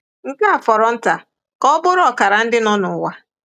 Nke a fọrọ nta ka ọ bụrụ ọkara ndị nọ n'ụwa.